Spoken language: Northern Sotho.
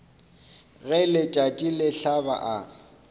ge letšatši le hlaba a